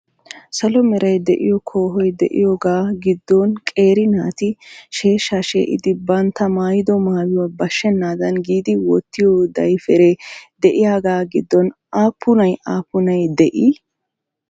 Salo meray de"iyo koohoy de"iyoogaa giddonqeeri naati sheeshsha shee"idi bantta maayido maayuwa bashshennaadan giidi wottiyo dayipperee de"iyaagaa giddon aappunay aappunay de'ii?